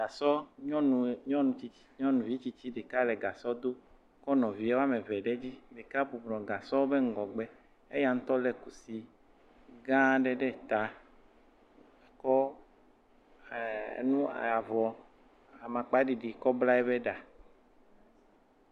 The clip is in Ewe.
Gasɔ, nyɔnu tsitsi, nyɔnuvi tsitsi ɖeka le gasɔ dom kɔ nɔvia woa me eve ɖe edzi, ɖeka bubɔnɔ gasɔ ƒe ŋgɔgbe. Aya ŋutɔ le kusi gaã aɖe ɖe ta, ke eh nu avɔ amakpa ɖiɖi kɔ bla eƒe ɖa.